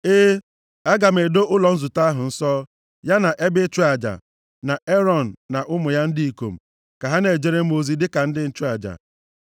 “E, aga m edo ụlọ nzute ahụ nsọ, ya na ebe ịchụ aja, na Erọn na ụmụ ya ndị ikom, ka ha na-ejere m ozi dịka ndị nchụaja.